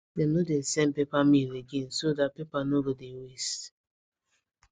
dem no dey send paper mail again so that paper no go dey waste